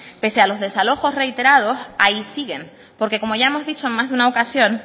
pese a los desalojos reiterados ahí siguen porque como ya hemos dicho en más de una ocasión